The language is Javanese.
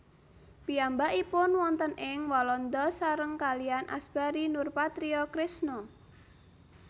Piyambakipun wonten ing Walanda sareng kaliyan Asbari Nurpatria Krisna